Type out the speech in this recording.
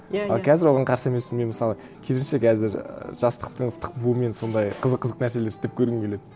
иә иә а қазір оған қарсы емеспін мен мысалы керісінше қазір ііі жастықтың ыстық буымен сондай қызық қызық нәрселер істеп көргім келеді